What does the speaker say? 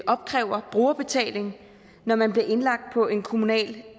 opkræver brugerbetaling når man bliver indlagt på en kommunal